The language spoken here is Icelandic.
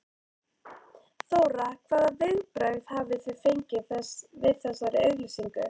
Þóra: Hvaða viðbrögð hafið þið fengið við þessari auglýsingu?